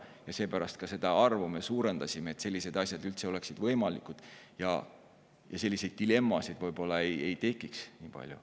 Ja seepärast me ka seda arvu suurendasime, et sellised asjad üldse oleksid võimalikud ja et selliseid dilemmasid ei tekiks nii palju.